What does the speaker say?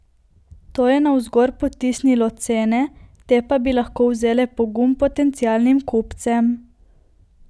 To je navzgor potisnilo cene, te pa bi lahko vzele pogum potencialnim kupcem.